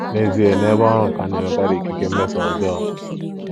N'ezie, n'ebe ọrụ ka a na-enwekarị ikike mmeso ọjọọ.